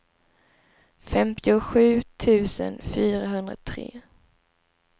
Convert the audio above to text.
femtiosju tusen fyrahundratre